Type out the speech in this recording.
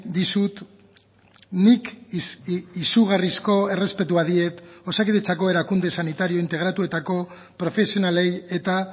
dizut nik izugarrizko errespetua diet osakidetzako erakunde sanitario integratuetako profesionalei eta